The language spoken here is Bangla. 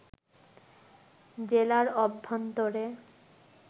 জেলার অভ্যন্তরে